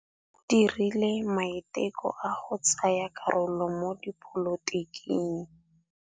O dirile maitekô a go tsaya karolo mo dipolotiking.